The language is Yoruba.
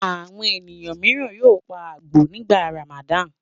Àwọn ènìyàn mìíràn yóò pa àgbò nígbà Ramadan.